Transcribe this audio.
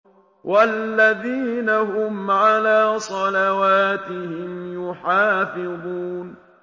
وَالَّذِينَ هُمْ عَلَىٰ صَلَوَاتِهِمْ يُحَافِظُونَ